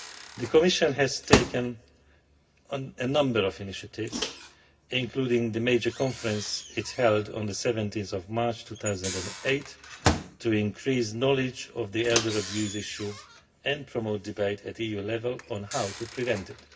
The Commission has taken a number of initiatives including the major conference it held on 17 March 2008 to increase knowledge of the elder abuse issue and to promote debate at EU level on how to prevent it.